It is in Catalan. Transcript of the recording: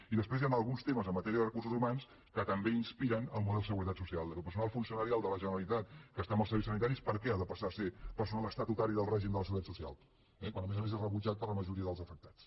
i després hi han alguns temes en matèria de recursos humans que també inspiren el model seguretat social que el personal funcionarial de la generalitat que està en els serveis sanitaris per què ha de passar a ser personal estatutari del règim de la seguretat social eh quan a més a més és rebutjat per la majoria dels afectats